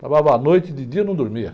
Travava à noite, de dia eu não dormia.